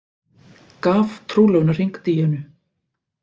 Gaf trúlofunarhring Díönu